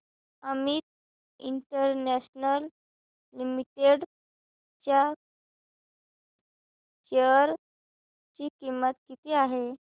Amit international limited च्या share ची किंमत किती आहे